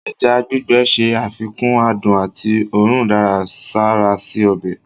Ẹja gbígbẹ̀ ṣé àfikún àdùn àti ọ̀rùn daradsara sí ọbẹ̀.